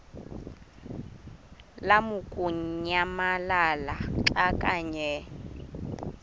lamukunyamalala xa kanye